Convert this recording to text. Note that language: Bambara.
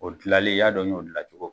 O gilalen y'a dɔn n yo gila cogo